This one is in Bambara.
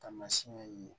Taamasiyɛn ye